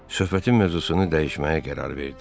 Söhbətin mövzusunu dəyişməyə qərar verdi.